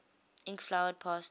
ink flowed past